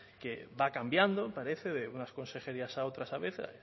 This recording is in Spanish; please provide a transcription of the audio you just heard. que va cambiando parece de unas consejerías a otras a veces